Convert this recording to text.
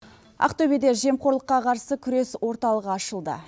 ақтөбеде жемқорлыққа қарсы күрес орталығы ашылды